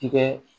Tigɛ